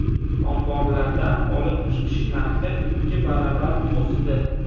Omborlardan olib chiqish narxi ikki barobar o‘sdi.